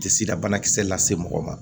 Tɛ sida banakisɛ lase mɔgɔ ma